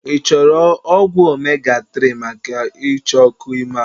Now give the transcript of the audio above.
I chọrọ ọgwụ omega 3 maka icha ọkụ ime ahụ?